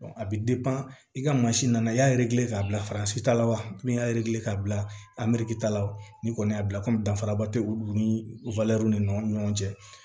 a bi i ka mansin nana i y'a k'a bila ta la wa min y'a k'a bila ta la ni kɔni y'a bila komi danfaraba tɛ olu ni ni ɲɔgɔn cɛ